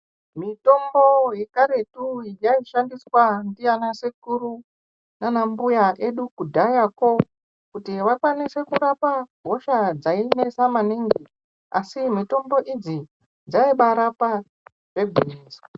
Mitombo yekaretu yaishandiswa ndiana sekuru nanambuya edu kudhayako kuti vakwanise kurapa hosha dzainesa maningi asi mitombo idzi dzaibaarapa zvegwinyiso.